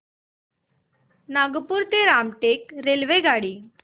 नागपूर ते रामटेक रेल्वेगाडी